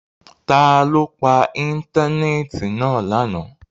Ta lo pa íńtánẹ́ẹ̀tì náa lana?